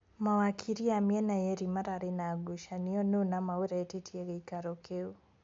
Mawakiri a mĩena yeerĩ mararĩ na ngucanio nũ nama ũretĩtie gĩikaro kĩu.